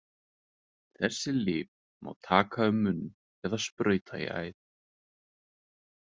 Þessi lyf má taka um munn eða sprauta í æð.